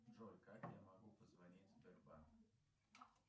джой как я могу позвонить в сбербанк